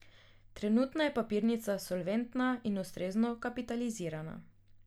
Trenutno je papirnica solventna in ustrezno kapitalizirana.